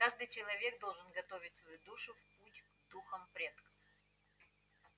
каждый человек должен готовить свою душу в путь к духам предков